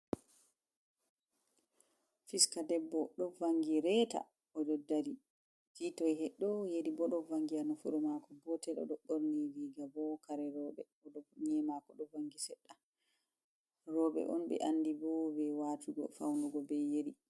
Fista debbo ɗo vangi reta oɗo dari. Kitoy heɗɗo yeri bo ɗo vangi ha nafuru mako goto oɗo ɓorni giga bo kare roɓe oɗo nyi'e mako bo ɗo vangi sedda robe on be andi bo be watugo faunugo be yeri.